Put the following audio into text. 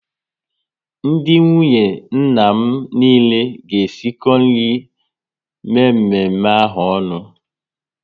Ndị nwunye nna m niile ga esiko nri mme mme ahụ onu